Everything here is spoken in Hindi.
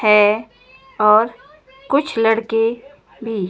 है और कुछ लड़के भी--